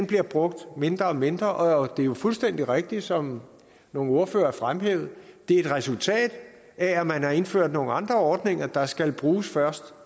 bliver brugt mindre og mindre og det er jo fuldstændig rigtigt som nogle ordførere fremhævede at det er et resultat af at man har indført nogle andre ordninger der skal bruges